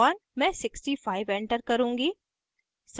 मैं 65 एंटर करुँगी